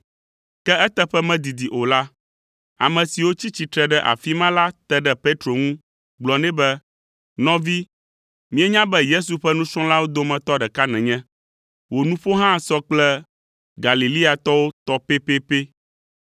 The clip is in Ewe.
Ke eteƒe medidi o la, ame siwo tsi tsitre ɖe afi ma la te ɖe Petro ŋu gblɔ nɛ be, “Nɔvi, míenya be Yesu ƒe nusrɔ̃lawo dometɔ ɖeka nènye. Wò nuƒo hã sɔ kple Galileatɔwo tɔ pɛpɛpɛ.”